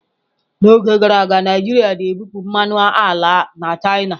N'oge gara aga, Naijiria na-ebupụ mmanụ ala na china.